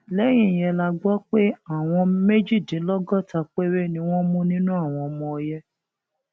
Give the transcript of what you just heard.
lẹyìn yẹn la gbọ pé àwọn méjìdínlọgọta péré ni wọn mú nínú àwọn ọmọ ọyẹ